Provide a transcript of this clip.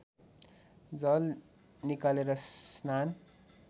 जल निकालेर स्नान